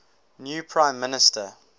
new prime minister